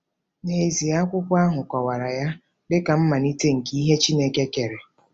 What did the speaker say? N’ezie, akwụkwọ ahụ kọwara ya dị ka mmalite nke ihe Chineke kere.